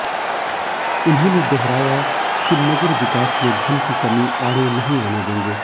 उन्होंने दोहराया कि नगर विकास में धन की कमी आड़े नही आने देंगे